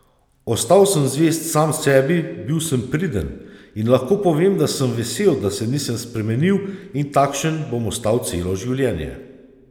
Ostal sem zvest sam sebi, bil sem priden in lahko povem, da sem vesel, da se nisem spremenil in takšen bom ostal celo življenje.